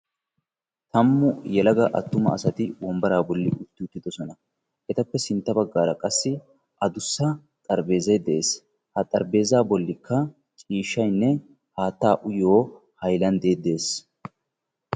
tammu yelaga attuma asati wombaraa bolli uttidosona. etappe sintta bagaara qassi adussa xarpheeezzay de'ees, ha xarpheezzaa bolikka haataa uyyiyo miishaynne hayklandee de'ees.